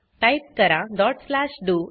type करा dot slash do